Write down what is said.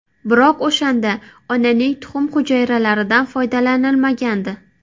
Biroq o‘shanda onaning tuxum hujayralaridan foydalanilmagandi.